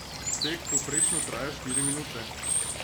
Tek povprečno traja štiri minute.